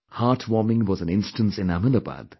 Heartwarming was an instance in Ahmedabad